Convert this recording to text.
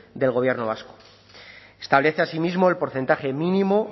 del gobierno vasco establece asimismo el porcentaje mínimo